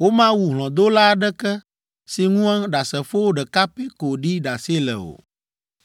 Womawu hlɔ̃dola aɖeke si ŋu ɖasefo ɖeka pɛ ko ɖi ɖase le o.